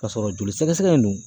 Ka sɔrɔ joli sɛgɛsɛgɛ in dun